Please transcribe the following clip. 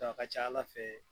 a ka ca Ala fɛ